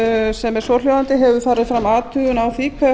sem er svohljóðandi hefur farið fram athugun á því